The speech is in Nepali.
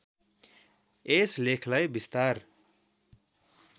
यस लेखलाई विस्तार